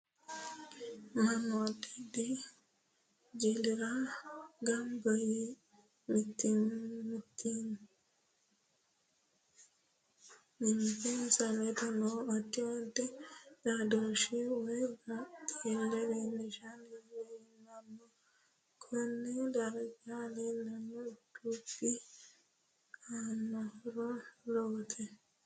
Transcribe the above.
Mannu addi addi jilira ganba yee mimitinsa ledo noo addi addi xaadhooshe woyi baxile leelishanni leelanno. Konne darga leelanno dubbi aanonhoro lowote